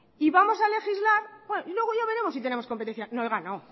y vamos a legislar y luego ya veremos si tenemos competencia no oiga no